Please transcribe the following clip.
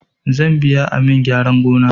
Zan biya amin gyaran gona